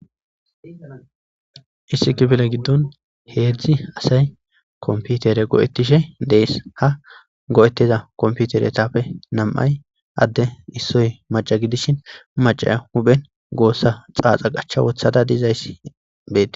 Issi kifile giddon heedzdzi asay komputere go'ettishe dees ha go'etteza komputere tappe nam'ay adde issoy maca gidishin macaya huphen goossa xaaxa qachcha wothada dizayssi betes.